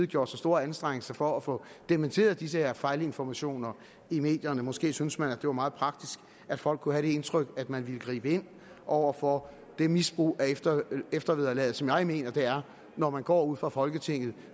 gjort sig store anstrengelser for at få dementeret disse fejlinformationer i medierne måske synes man at det var meget praktisk at folk kunne have det indtryk at man ville gribe ind over for det misbrug af eftervederlaget som jeg mener det er når man går ud fra folketinget